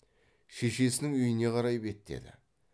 шешесінің үйіне қарай беттеді